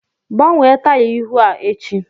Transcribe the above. Gbanwee taya ihu a echi!